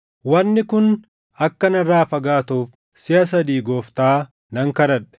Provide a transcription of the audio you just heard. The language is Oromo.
Wanni kun akka narraa fagaatuuf siʼa sadii Gooftaa nan kadhadhe.